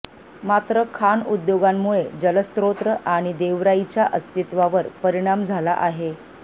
मात्र खाण उद्योगांमुळे जलस्रेत आणि देवराईच्या अस्तित्वावर परिणाम झाला आहे